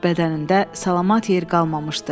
Bədənində salamat yer qalmamışdı.